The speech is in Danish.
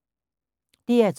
DR2